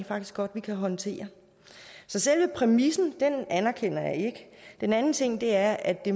faktisk godt man kan håndtere så selve præmissen anerkender jeg ikke den anden ting er at det